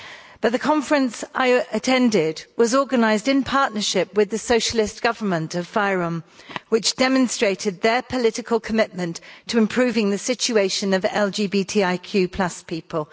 But the conference I attended was organised in partnership with the Socialist government of fYROM which demonstrated their political commitment to improving the situation of LGBTIQ people.